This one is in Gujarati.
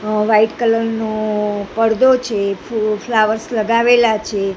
અ વ્હાઇટ કલર નુ પરદો છે ફ-ફ્લાવર્સ લગાવેલા છે.